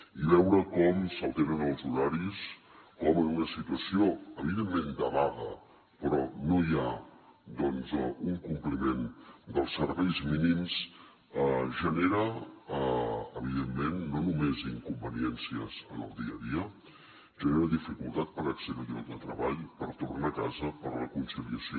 i veure com s’alteren els horaris com en una situació evidentment de vaga però no hi ha doncs un compliment dels serveis mínims genera evidentment no només inconveniències en el dia a dia genera dificultat per accedir als llocs de treball per tornar a casa per a la conciliació